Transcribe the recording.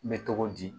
N bɛ cogo di